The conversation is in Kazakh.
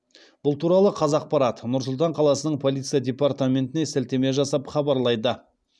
бұл туралы қазақпарат нұр сұлтан қаласының полиция департаментіне сілтеме жасап хабарлайды